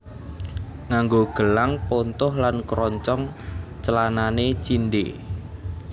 Nganggo gelang pontoh lan kroncong clanane cindhe